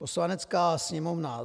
"Poslanecká sněmovna